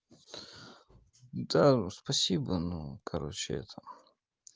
да спасибо но короче это